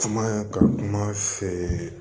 Kuma ka kuma feere